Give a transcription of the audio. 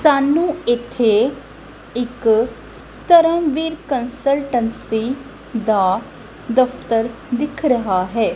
ਸਾਨੂੰ ਇਥੇ ਇਕ ਧਰਮਵੀਰ ਕੰਸਲਟੰਸੀ ਦਾ ਦਫ਼ਤਰ ਦਿੱਖ ਰਿਹਾ ਹੈ।